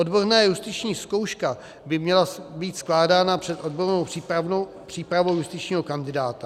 Odborná justiční zkouška by měla být skládána před odbornou přípravou justičního kandidáta.